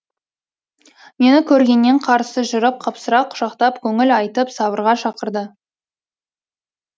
мені көргеннен қарсы жүріп қапсыра құшақтап көңіл айтып сабырға шақырды